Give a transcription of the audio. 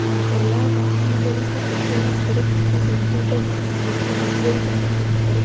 ಅಹ್ ಎಲ್ಲಾ ವಾಹನಗಳಿಗು ಪೆಟ್ರೋಲ್ ಹಾಕತ್ತರೆ ಮತ್ತು ದೊಡ್ಡ ದೊಡ್ಡ ವಾಹನಗಳಿಗೆ ಡಿಸೇಲ್ ಗಳನ್ನು ಹಾಕತ್ತರೆ.